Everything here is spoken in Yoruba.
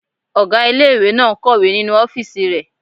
Ọgá ilé-ìwé náà n kọ̀wé nínu ọ́fìsì rẹ̀